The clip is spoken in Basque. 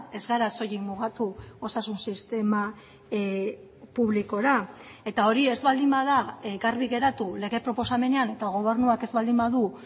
ez gara soilik mugatu osasun sistema publikora eta hori ez baldin bada garbi geratu lege proposamenean eta gobernuak ez baldin badu